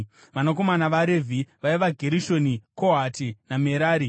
Vanakomana vaRevhi vaiva: Gerishoni, Kohati naMerari.